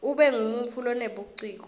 ube ngumuntfu lonebuciko